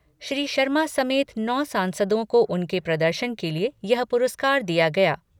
श्री शर्मा समेत नौ सांसदों को उनके प्रदर्शन के लिए यह पुरस्कार दिया गया।